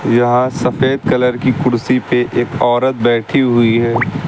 यहाँ सफेद कलर की कुर्सी पे एक औरत बैठी हुई है।